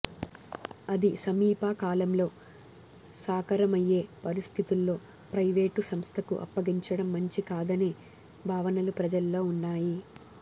అది సమీప కాలంలో సాకారమయ్యే పరిస్థితుల్లో ప్రైవేటు సంస్థకు అప్పగించడం మంచి కాదనే భావనలు ప్రజల్లో ఉన్నాయి